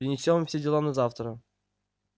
перенесём все дела на завтра